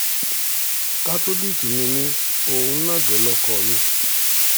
kátólíìkì ni mí òun náà dé lóko mi